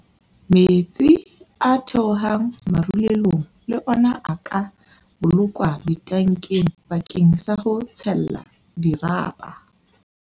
Metsi a theohang marulelong le ona a ka bolokwa ditankeng bakeng sa ho tshella dirapa.